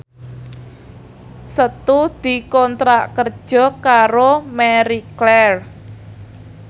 Setu dikontrak kerja karo Marie Claire